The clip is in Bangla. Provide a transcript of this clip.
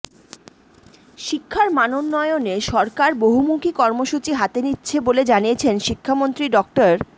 শিক্ষার মানোন্নয়নে সরকার বহুমুখী কর্মসূচি হাতে নিচ্ছে বলে জানিয়েছেন শিক্ষামন্ত্রী ডা